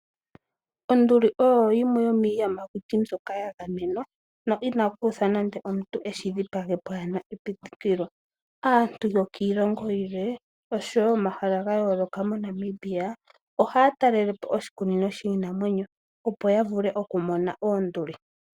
Onduli oyo yimwe yo miiyamakuti mbyoka yagamenwa no ina ku uthwa nande muntu eshi dhipage pwaana epitikilo. Aantu yokiilongo yilwe osho woo yokomahala ga yooloka moNamibia ohaya talelepo oshikunino shiinamwenyo opo ya vule okumona oonduli